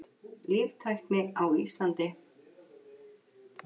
Líftækni á Íslandi.